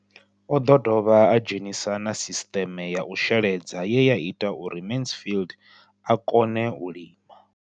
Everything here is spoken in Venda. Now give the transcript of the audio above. O ḓo dovha a dzhenisa na sisiṱeme ya u sheledza ye ya ita uri Mansfied a kone u lima.